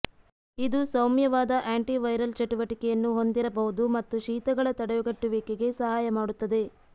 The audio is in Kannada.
ಇದು ಸೌಮ್ಯವಾದ ಆಂಟಿವೈರಲ್ ಚಟುವಟಿಕೆಯನ್ನು ಹೊಂದಿರಬಹುದು ಮತ್ತು ಶೀತಗಳ ತಡೆಗಟ್ಟುವಿಕೆಗೆ ಸಹಾಯ ಮಾಡುತ್ತದೆ